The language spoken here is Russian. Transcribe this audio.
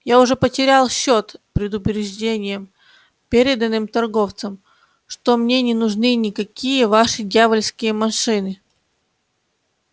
я уже потерял счёт предупреждениям переданным торговцам что мне не нужны никакие ваши дьявольские машины